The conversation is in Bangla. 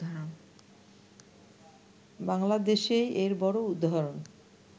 বাংলাদেশেই এর বড় উদাহারণ